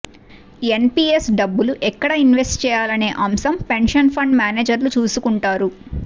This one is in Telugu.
ఎన్పీఎస్ డబ్బులు ఎక్కడ ఇన్వెస్ట్ చేయాలనే అంశం పెన్షన్ ఫండ్ మేనేజర్లు చూసుకుంటారు